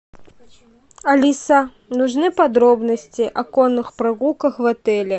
алиса нужны подробности о конных прогулках в отеле